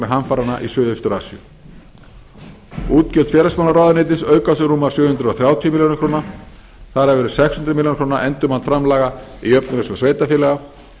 hamfaranna í suðaustur asíu útgjöld félagsmálaráðuneytis aukast um rúmar sjö hundruð þrjátíu milljónir króna þar af eru sex hundruð milljóna króna endurmat framlaga í jöfnunarsjóð sveitarfélaga